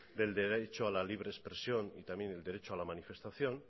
del derecho a la libre expresión y también al derecho a la manifestación